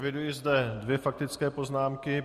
Eviduji zde dvě faktické poznámky.